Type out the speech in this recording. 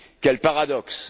Quel paradoxe!